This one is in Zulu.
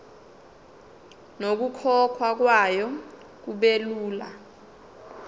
nokukhokhwa kwayo kubelula